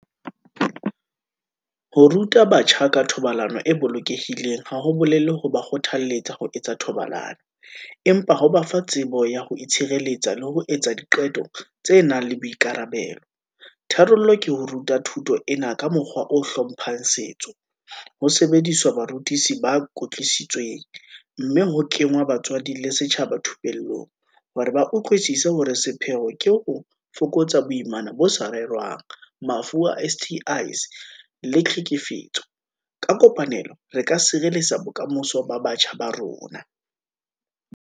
Ho ruta batjha ka thobalano e bolokehileng, ha ho bolele ho ba kgothalletsa ho etsa thobalano, empa ho ba fa tsebo ya ho itshireletsa, le ho etsa diqeto tse nang le boikarabelo. Tharollo ke ho ruta thuto ena ka mokgwa o hlomphang setso, ho sebediswa barutisi ba kwetlisitsweng, mme ho kengwa batswadi le setjhaba thupellong, hore ba utlwisise hore sepheo ke ho fokotsa boimana bo sa rerwang, mafu a S_T_I's le tlhekefetso. Ka kopanelo re ka sireletsa bokamoso ba batjha ba rona.